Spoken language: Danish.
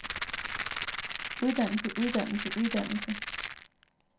uddannelse uddannelse uddannelse